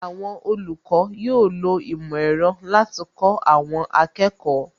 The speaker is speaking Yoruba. Àwọn olùkọ́ yóò lo ìmò ẹ̀rọ láti kó àwọn akẹ́kọ̀ọ́